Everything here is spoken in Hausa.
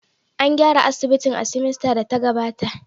An gyara asibitin a semester da ta gabata